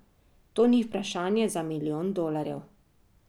To ni vprašanje za milijon dolarjev.